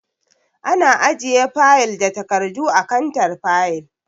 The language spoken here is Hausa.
Ana ajiye fayil da takardu a kantar fayil.